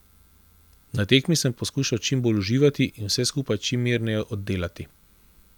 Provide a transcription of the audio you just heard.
Na tekmi sem poskušal čim bolj uživati in vse skupaj čim mirneje oddelati.